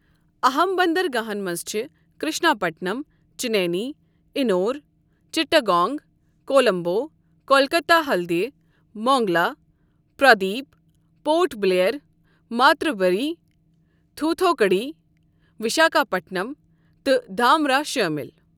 اَہم بندرگاہن منٛز چھِ Krishnapatnam, Chennai, Ennore, Chittagong, Colombo, Kolkata Haldia, Mongla, Paradip, Port Blair, Matarbari, Thoothukudi, Visakhapatnam تہٕ دھامرا شٲمِل۔